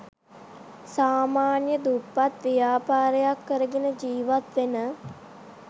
සාමාන්‍ය දුප්පත් ව්‍යාපාරයක් කරගෙන ජීවත් වෙන